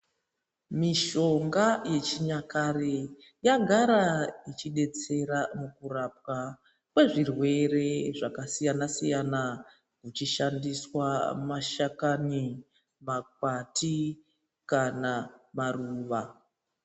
Mishonga yechinyakare yagara yechidetsera kurapwa kwezvirwere zvakasiyana siyana, ichishandiswa makwati kana maruva.